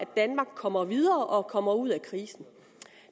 danmark kommer videre og kommer ud af krisen